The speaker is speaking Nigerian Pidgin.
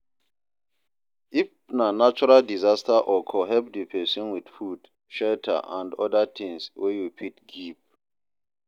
If na natural disaster occur help di persin with food, shelter and oda things wey you fit give